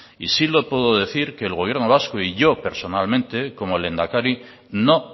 y sí le puedo decir que el gobierno vasco y yo personalmente como lehendakari no